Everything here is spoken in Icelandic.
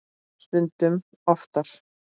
Stundum oftar.